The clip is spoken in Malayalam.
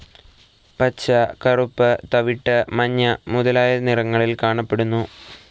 പച്ച, കറുപ്പ്, തവിട്ട്, മഞ്ഞ മുതലായ നിറങ്ങളിൽ കാണപ്പെടുന്നു.